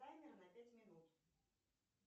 таймер на пять минут